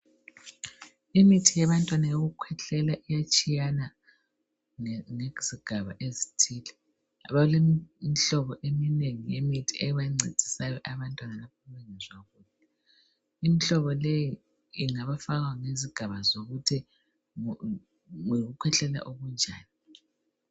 Imithi yabantwana yokukhwehlela iyatshiyana ngezigaba ezithile. Balemihlobo eminengi yemithi ebancedisayo abantwana imihlobo leyi ungayifaka ngezigaba zokuthi yikukhwehlela okunjani.